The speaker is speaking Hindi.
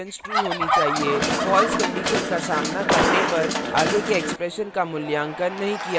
false condition का सामना करने पर आगे के expression का मूल्यांकन नहीं किया जाता